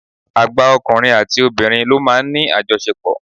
Àgbà ọkùnrin àti obìnrin ló máa ń ní àjọṣepò.